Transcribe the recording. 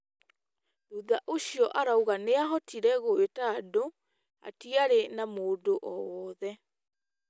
Thutha ũcio arauga niahotire gũĩta andu, hatiarĩ na mũndũ o wothe.